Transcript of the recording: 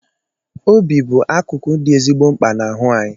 Obi bụ akụkụ dị ezigbo mkpa n' ahụ anyị